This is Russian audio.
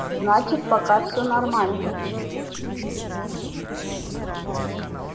значит пока все нормально